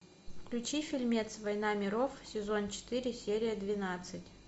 включи фильмец война миров сезон четыре серия двенадцать